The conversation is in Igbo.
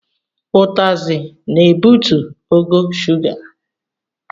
Utasị na-ebutu ogo shuga.